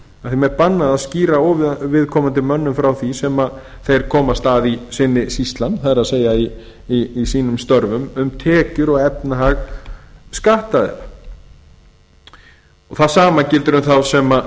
starfi að skýra óviðkomandi mönnum frá því sem þeir komast að í sinni sýslan það er í sínum störfum um tekjur og efnahag skattaðila það sama gildir um þá sem